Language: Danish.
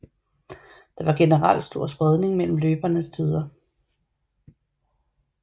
Der var generelt stor spredning mellem løbernes tider